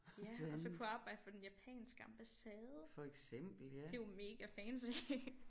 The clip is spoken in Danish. Ja og så kunne jeg arbejde for den japanske ambassade det er jo mega fancy